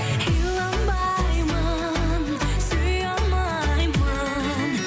иланбаймын сүйе алмаймын